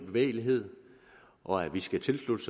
bevægelighed og at vi skal tilslutte